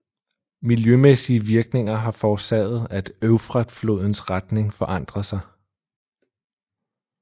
Miljømæssige virkninger har forårsaget at Eufrat flodens retning forandrede sig